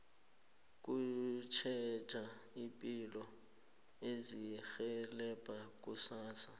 ukutjheja ipilo kuzirhelebha kusasa